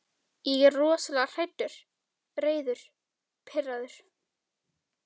Ég er rosalega hræddur, reiður, pirraður.